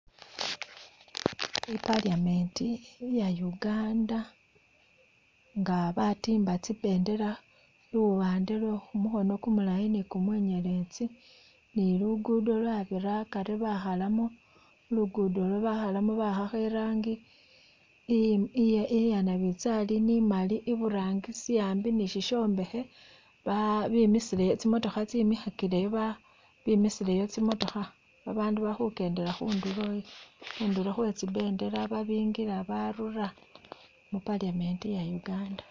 I'paliament iya Uganda nga batimba tsimbendela luwande lwe khumukhono kumulayi ni kumunyeletsi ni luguddo lwabira akaari bakhalamo luguddo olu bakhalamo ba'akho irangi iye iya'nabizali ni maali iburangisi ambi ni sishombekhe ba bemisile tsi'motokha tsemikhakileyo ba bemisileyo tsi'motokha bandu balikhukendela khundulo khwetsimbendela babikila, babarula mu'paliament iya' Uganda